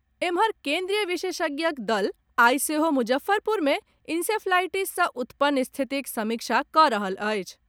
एम्हर, केन्द्रीय विशेषज्ञक दल आइ सेहो मुजफ्फरपुर मे इंसेफ्लाईटिस सॅ उत्पन्न स्थितिक समीक्षा कऽ रहल अछि।